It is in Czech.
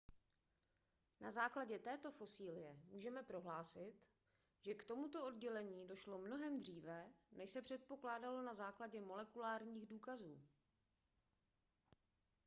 na základě této fosilie můžeme prohlásit že k tomuto oddělení došlo mnohem dříve než se předpokládalo na základě molekulárních důkazů